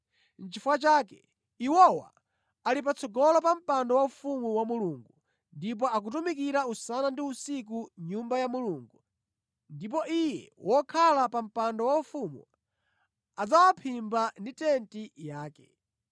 Nʼchifukwa chake, “iwowa ali patsogolo pa mpando waufumu wa Mulungu ndipo akutumikira usana ndi usiku mʼNyumba ya Mulungu; ndipo Iye wokhala pa mpando waufumu adzawaphimba ndi tenti yake.